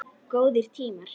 Góðir tímar.